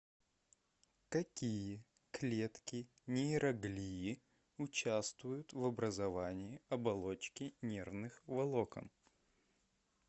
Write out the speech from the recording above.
какие клетки нейроглии участвуют в образовании оболочки нервных волокон